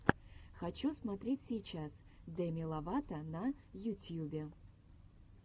хочу смотреть сейчас деми ловато на ютьюбе